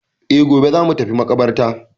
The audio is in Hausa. E, gobe za mu tafi maƙabartar.